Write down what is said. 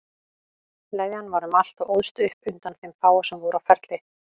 Leðjan var um allt og óðst upp undan þeim fáu sem voru á ferli.